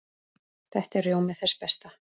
Þetta er rjómi þess besta.